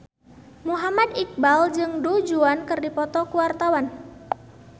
Muhammad Iqbal jeung Du Juan keur dipoto ku wartawan